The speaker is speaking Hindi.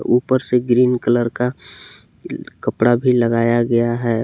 ऊपर से ग्रीन कलर का कपड़ा भी लगाया गया है।